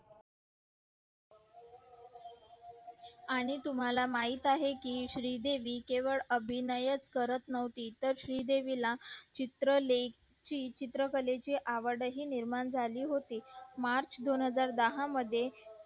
आणि तुम्हला माहित आहे कि श्री देवी केवळ अभिनव च करत नव्हती तर श्री देवी ला चित्र लेखी चत्रिकलेची आवडही निर्माण झाली होती march दोन हजार दहा मध्ये